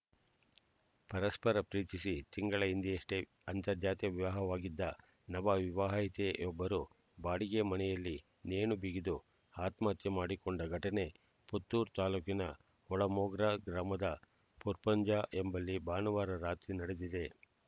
ಪರಸ್ಪರ ಪ್ರೀತಿಸಿ ತಿಂಗಳ ಹಿಂದೆಯಷ್ಟೇ ಅಂತರ್ಜಾತಿ ವಿವಾಹವಾಗಿದ್ದ ನವ ವಿವಾಹಿತೆಯೊಬ್ಬರು ಬಾಡಿಗೆ ಮನೆಯಲ್ಲಿ ನೇಣು ಬಿಗಿದು ಆತ್ಮಹತ್ಯೆ ಮಾಡಿಕೊಂಡ ಘಟನೆ ಪುತ್ತೂರು ತಾಲೂಕಿನ ಒಳಮೊಗ್ರು ಗ್ರಾಮದ ಪರ್ಪುಂಜ ಎಂಬಲ್ಲಿ ಭಾನುವಾರ ರಾತ್ರಿ ನಡೆದಿದೆ